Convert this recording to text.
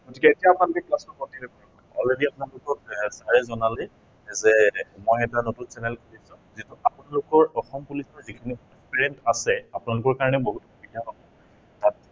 গতিকে এতিয়া আপোনালোকে class বোৰ continue কৰিব। group ত আপোনালোকক sir এ already জনালেই যে মই এটা নতুন channel খুলিছো। আপোনালোকৰ অসম police ৰ যিখিনি student আছে, আপোনালোকৰ কাৰনে বহুত সুবিধা হব।